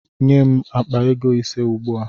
Nye m akpa ego ise ugbua!